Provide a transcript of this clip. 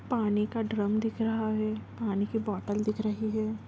पानी का ड्रम दिख रहा है पानी के बोतल दिख रही है